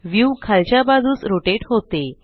view खालच्या बाजूस rotate होते